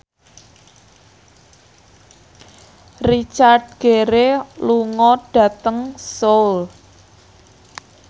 Richard Gere lunga dhateng Seoul